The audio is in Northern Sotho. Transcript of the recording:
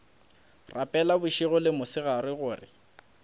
rapela bošego le mosegare gore